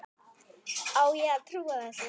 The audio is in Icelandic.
Á ég að trúa þessu?